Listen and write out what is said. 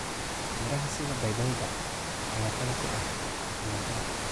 Miraha sida babayga ayaa qani ku ah fitamiin A.